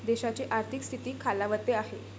देशाची आर्थिक स्थिती खालावते आहे.